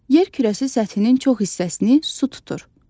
Yer kürəsi səthinin çox hissəsini su tutur.